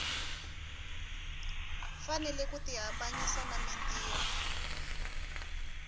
fanele ku tihambanyisa na mintirho